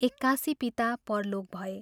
एक्कासि पिता परलोक भए।